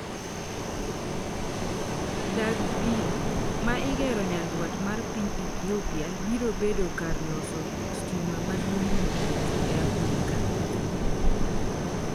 Dag pi, ma igero nyandwat mar piny Ethiopia, birobedo kar loso stima maduong' mogik e Afrika.